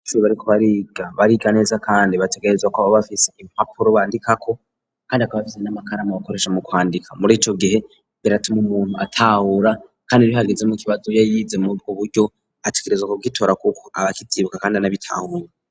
Abanyeshure bariko bariga, bariga neza kandi bategerezwa kuba bafise impapuro bandikako kandi bakaba bafise n'amakaramu bakoresha mu kwandika. Muri ico gihe biratuma umuntu atahura kandi iyo hagize n'ikibazo iyo yize mubwo buryo, ategerezwa kugitora kuko aba akivyibuka kandi anabitahura.